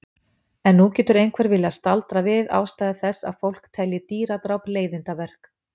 En nú getur einhver viljað staldra við ástæðu þess að fólk telji dýradráp leiðindaverk.